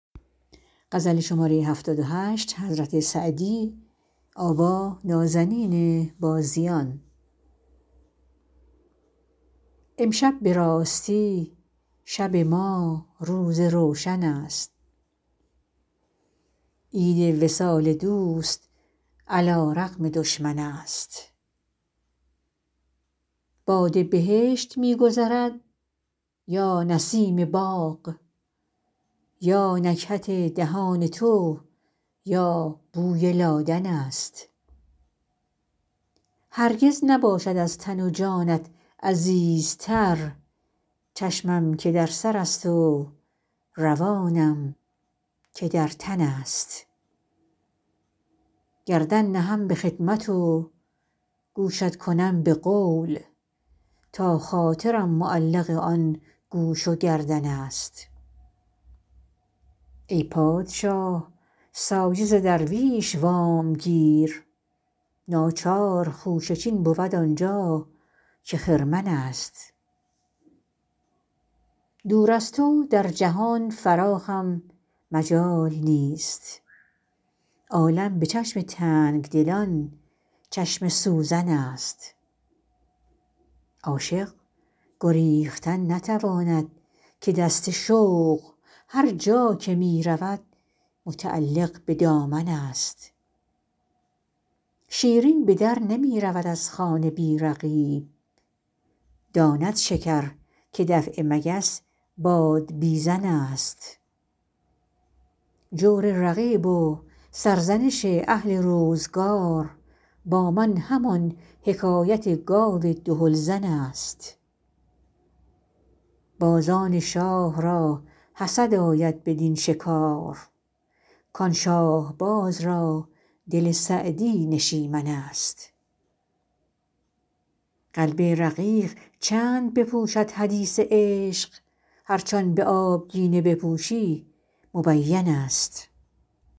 امشب به راستی شب ما روز روشن است عید وصال دوست علی رغم دشمن است باد بهشت می گذرد یا نسیم باغ یا نکهت دهان تو یا بوی لادن است هرگز نباشد از تن و جانت عزیزتر چشمم که در سرست و روانم که در تن است گردن نهم به خدمت و گوشت کنم به قول تا خاطرم معلق آن گوش و گردن است ای پادشاه سایه ز درویش وامگیر ناچار خوشه چین بود آن جا که خرمن است دور از تو در جهان فراخم مجال نیست عالم به چشم تنگ دلان چشم سوزن است عاشق گریختن نتواند که دست شوق هر جا که می رود متعلق به دامن است شیرین به در نمی رود از خانه بی رقیب داند شکر که دفع مگس بادبیزن است جور رقیب و سرزنش اهل روزگار با من همان حکایت گاو دهل زن است بازان شاه را حسد آید بدین شکار کان شاهباز را دل سعدی نشیمن است قلب رقیق چند بپوشد حدیث عشق هرچ آن به آبگینه بپوشی مبین است